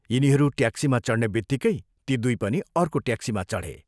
यिनीहरू ट्याक्सीमा चढ्नेबित्तिकै ती दुइ पनि अर्को ट्याक्सीमा चढे।